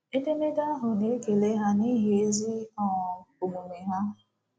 Edemede ahụ na-ekele ha ‘n’ihi ezi um omume ha.